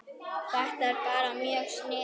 Þetta er bara mjög sniðugt